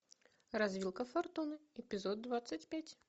развилка фортуны эпизод двадцать пять